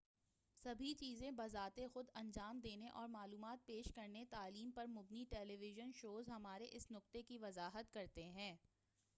سبھی چیزیں بذات خود انجام دینے اور معلومات پیش کرنے تعلیم پر مبنی ٹیلی ویژن شوز ہمارے اس نقطے کی وضاحت کرتے ہیں